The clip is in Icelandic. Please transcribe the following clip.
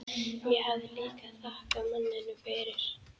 Ég hafði líka þakkað manninum fyrir.